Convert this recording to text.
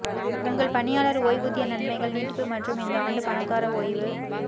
உங்கள் பணியாளர் ஓய்வூதிய நன்மைகள் நீட்டிப்பு மற்றும் இந்த ஆண்டு பணக்கார ஓய்வு